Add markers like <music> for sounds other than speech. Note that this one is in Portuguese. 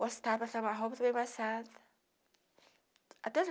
Gostava, passava a roupa, <unintelligible> até os